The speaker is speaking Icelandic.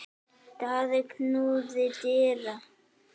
Daði knúði dyra.